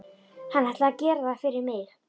Hann ætli að gera það fyrir mig.